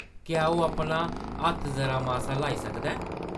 क्या ओह्‌‌ अपना हत्थ जरा-मासा ल्हाई सकदा ऐ ?